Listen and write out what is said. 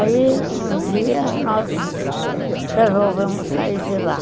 Aí, um dia, nós resolvemos sair de lá.